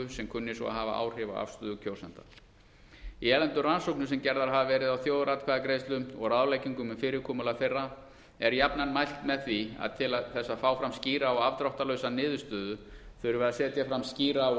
sem kunni svo að hafa áhrif á afstöðu kjósenda í erlendum rannsóknum sem gerðar hafa verið á þjóðaratkvæðagreiðslum og ráðleggingum um fyrirkomulag þeirra er jafnan mælt með því að til þess að fá fram skýra og afdráttarlausa niðurstöðu þurfi að setja fram skýra og